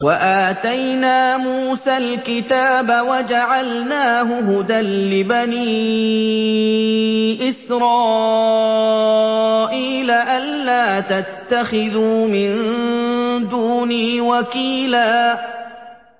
وَآتَيْنَا مُوسَى الْكِتَابَ وَجَعَلْنَاهُ هُدًى لِّبَنِي إِسْرَائِيلَ أَلَّا تَتَّخِذُوا مِن دُونِي وَكِيلًا